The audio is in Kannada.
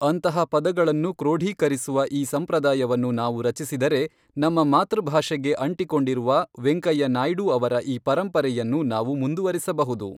ಅಂತಹ ಪದಗಳನ್ನು ಕ್ರೋಢೀಕರಿಸುವ ಈ ಸಂಪ್ರದಾಯವನ್ನು ನಾವು ರಚಿಸಿದರೆ, ನಮ್ಮ ಮಾತೃಭಾಷೆಗೆ ಅಂಟಿಕೊಂಡಿರುವ ವೆಂಕಯ್ಯ ನಾಯ್ಡು ಅವರ ಈ ಪರಂಪರೆಯನ್ನು ನಾವು ಮುಂದುವರಿಸಬಹುದು.